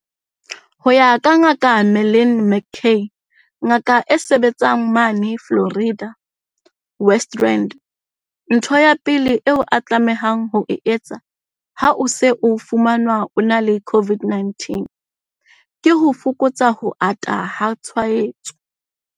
Ho ya ka Ngaka Marlin McCay, ngaka e sebetsang mane Florida, West Rand, ntho ya pele eo o tlamehang ho e etsa ha o se o fumanwe o ena le COVID-19 ke ho fokotsa ho ata ha tshwaetso.